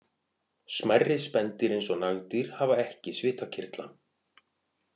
Smærri spendýr eins og nagdýr hafa ekki svitakirtla.